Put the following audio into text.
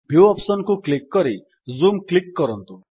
view option କୁ click କରି zoom click କରନ୍ତୁ